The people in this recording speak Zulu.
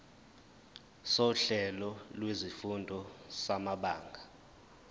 sohlelo lwezifundo samabanga